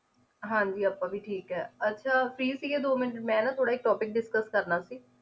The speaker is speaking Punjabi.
ਹਾਂਜੀ ਆਪਾਂ ਵੀ ਠੀਕ ਆ ਅੱਛਾ free ਸੀਗੇ ਦੋ ਮਿੰਟ ਮੈਂ ਨਾ ਥੋੜਾ ਇੱਕ topic discuss ਸੀ